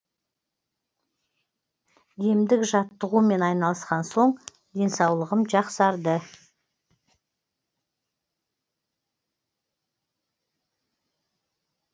емдік жаттығумен айналысқан соң денсаулығым жақсарды